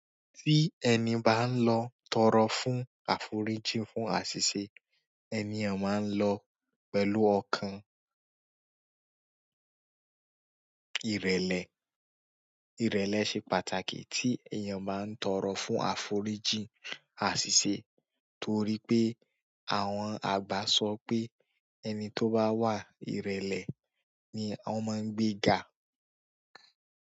Tí ẹni bá ń lọ tọrọ fún àforíjì fún àṣìṣe, ènìyàn máa ń lọ pẹ̀lú ọkàn. Ìrèlè, ìrẹ̀lẹ̀ ṣe pàtàkì tí èèyàn bá ń tọrọ fún àforíjì àṣìṣe torí pé àwọn àgbà sọ pé ẹni tó bá wa ìrẹ̀lẹ̀ ni wọ́n máa ń gbé ga.